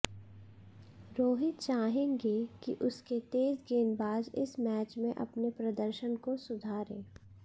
रोहित चाहेंगे कि उसके तेज गेंदबाज इस मैच में अपने प्रदर्शन को सुधारे